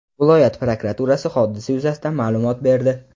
Viloyat prokuraturasi hodisa yuzasidan ma’lumot berdi.